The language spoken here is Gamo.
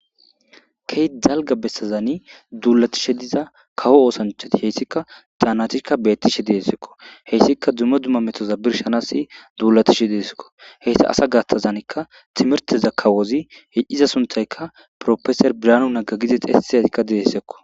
key dalga bessazani duulatishe diza kawo oosanchati heyssika daanatika beettishe deessekko heyssika dumma dumma metoza birshanasi duulatishe deesekko heysta asa gattazanikka timirteza kawozi hicciza suntayka profeser biraanu nagga gidi xessiyaikka dedessekko